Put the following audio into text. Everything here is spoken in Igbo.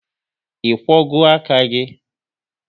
Ị kwogo aka gị?